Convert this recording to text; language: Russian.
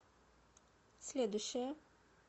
следующая